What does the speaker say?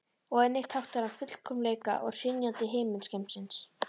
Og einnig táknar hann fullkomleika og hrynjandi himingeimsins.